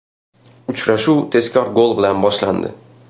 Uchrashuv tezkor gol bilan boshlandi.